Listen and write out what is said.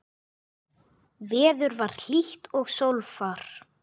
Veður var hlýtt og sólfar.